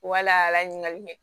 Wala ɲininkali mɛ